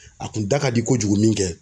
A kun da ka di kojugu min kɛ